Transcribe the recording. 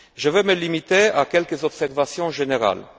Je vais me limiter à quelques observations générales.